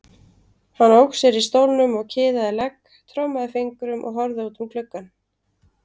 Hann ók sér í stólnum og kiðaði legg, trommaði fingrum og horfði út um gluggann.